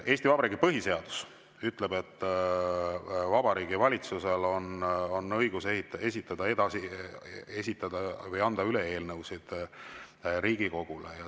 Eesti Vabariigi põhiseadus ütleb, et Vabariigi Valitsusel on õigus esitada või anda üle eelnõusid Riigikogule.